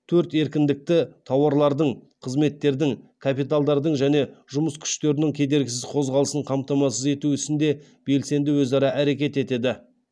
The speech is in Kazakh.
төрт еркіндікті тауарлардың қызметтердің капиталдардың және жұмыс күштерінің кедергісіз қозғалысын қамтамасыз ету ісінде белсенді өзара әрекет етеді